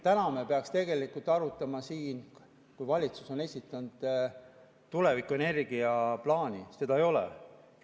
Täna me peaksime siin tegelikult arutama valitsuse esitatud tulevikuenergia plaani, aga seda ei ole.